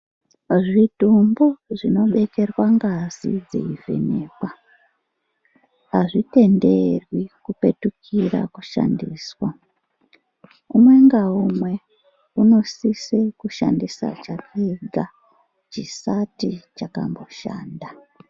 Zvidhumbu zvinobekerwa ngazi dzeivhenekwa hazvitenderwi kupetukira kushandiswa. Umwe ngaumwe unosise kushandisa chake ega, chisati chakamboshanda.